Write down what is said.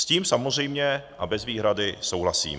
S tím samozřejmě a bez výhrady souhlasím.